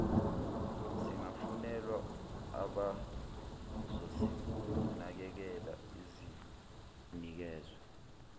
zingafunelwa abazozinakekela zinikezwe